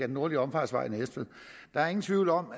nordlige omfartsvej i næstved der er ingen tvivl om